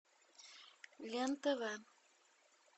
лен тв